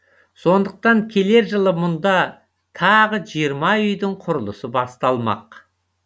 сондықтан келер жылы мұнда тағы жиырма үйдің құрылысы басталмақ